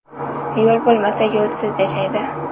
Yo‘l bo‘lmasa, yo‘lsiz yashaydi.